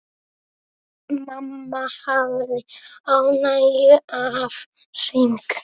Mamma hafði ánægju af söng.